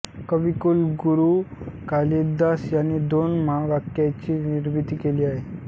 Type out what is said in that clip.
कविकुलगुरू कालिदास यांनी दोन महाकाव्यांची निर्मिती केली आहे